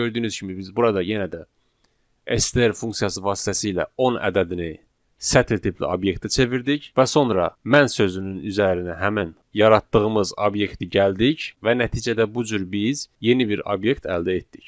Bəli, gördüyünüz kimi biz burada yenə də STR funksiyası vasitəsilə 10 ədədini sətr tipli obyektə çevirdik və sonra mən sözünün üzərinə həmin yaratdığımız obyekti gəldik və nəticədə bu cür biz yeni bir obyekt əldə etdik.